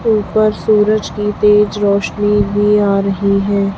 ऊपर सूरज की तेज रोशनी भी आ रही है।